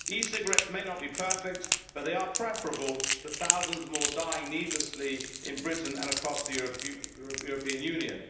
E cigarettes may not be perfect, but they are preferable to thousands more dying needlessly in Britain and across the European Union.